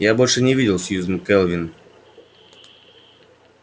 я больше не видел сьюзен кэлвин